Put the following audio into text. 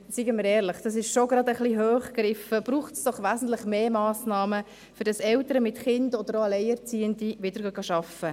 Seien wir ehrlich: Das ist etwas hoch gegriffen, braucht es doch wesentlich mehr Massnahmen, damit Eltern mit Kind, oder auch Alleinerziehende, wieder arbeiten gehen.